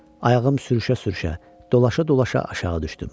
Ayağım sürüşə-sürüşə, dolaşa-dolaşa aşağı düşdüm.